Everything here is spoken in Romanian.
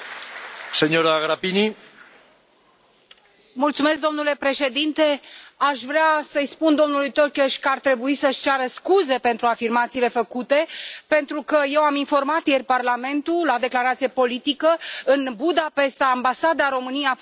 Domnule președinte, aș vrea să i spun domnului Tokes că ar trebui să și ceară scuze pentru afirmațiile făcute, pentru că eu am informat ieri Parlamentul, printr o declarație politică, în Budapesta, ambasada României a fost profanată, stema și însemnele statului